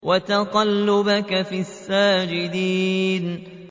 وَتَقَلُّبَكَ فِي السَّاجِدِينَ